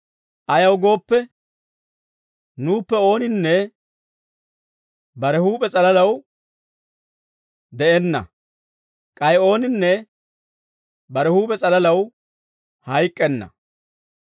Ayaw gooppe, nuuppe ooninne bare huup'e s'alalaw de'enna; k'ay ooninne bare huup'e s'alalaw hayk'k'enna.